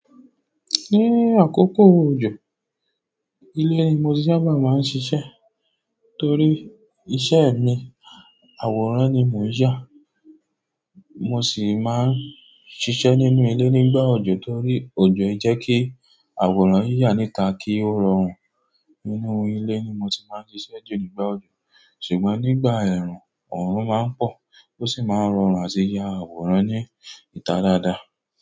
Ní àkókò òjò, ilé ni mo ti sábà máa ń ṣíṣe torí iṣẹ́ mi, àwòrán ni mò ń yà. Mo sì máa ń ṣíṣe nínú ilé nígbà òjò torí òjò jẹ́ kí àwòrán yí yá níta kí ó rọrùn. Nínú ilé ni mo ti máa ń ṣíṣe jù nígbà òjò. Ṣùgbọ́n nígbà ẹ̀rùn, ọ̀run máa ń pọ́ ó sì máa ń rọrùn àti ya àwòrán ní ìta dáadáa.